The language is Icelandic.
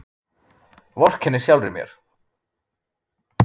Vorkenni sjálfri mér.